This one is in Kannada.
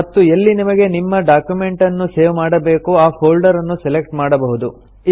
ಮತ್ತು ಎಲ್ಲಿ ನಿಮಗೆ ನಿಮ್ಮ ಡಾಕ್ಯುಮೆಂಟನ್ನು ಸೇವ್ ಮಾಡಬೇಕೋ ಆ ಫೊಲ್ಡರ್ ಅನ್ನು ಸೆಲೆಕ್ಟ್ ಮಾಡಬಹುದು